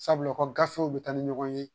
Sabula ko gafew bɛ taa ni ɲɔgɔn ye